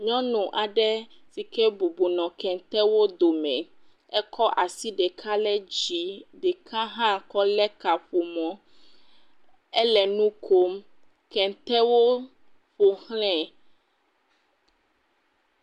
Nyɔnu aɖe sike bɔbɔ nɔ kentewo dome, ekɔ asi ɖeka le dzi, ɖeka hã kɔlé kaƒomɔ, ele nu kom, kɛntɛwo ƒoxlɛɛ.